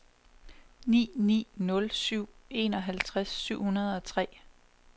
ni ni nul syv enoghalvtreds syv hundrede og tre